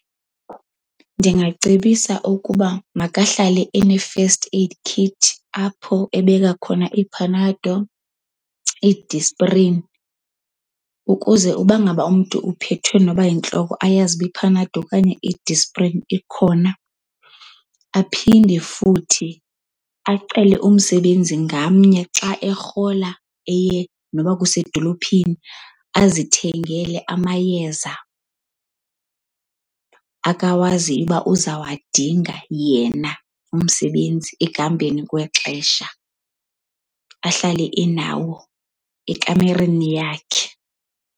Ndingacebisa ukuba makahlale ene-first aid kit apho ebeka khona iiPanado, iiDisprin ukuze uba ngaba umntu uphethwe noba yintloko ayazuba iPanado okanye iDisprin ikhona. Aphinde futhi acele umsebenzi ngamnye xa erhola eye noba kusedolophini azithengele amayeza akawaziyo uba uzawadinga yena umsebenzi ekuhambeni kwexesha, ahlale enawo ekamereni yakhe.